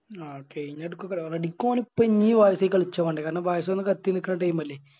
Okay ഇനി എടുക്കൊക്ക Ready ഓലിപ്പോ ഇനി കളിച്ചോണ്ട് കാരണം ബായിസോണാ കത്തി നിക്കണ Team അല്ലെ